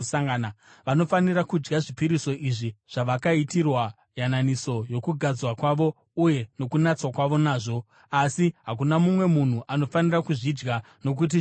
Vanofanira kudya zvipiriso izvi zvavakaitirwa yananiso yokugadzwa kwavo uye nokunatswa kwavo nazvo. Asi hakuna mumwe munhu anofanira kuzvidya nokuti zvitsvene.